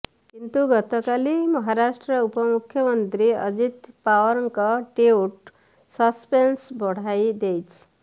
କିନ୍ତୁ ଗତକାଲି ମହାରାଷ୍ଟ୍ର ଉପମୁଖ୍ୟମନ୍ତ୍ରୀ ଅଜିତ୍ ପାୱାରଙ୍କ ଟ୍ୱିଟ୍ ସସ୍ପେନ୍ସ ବଢ଼ାଇ ଦେଇଛି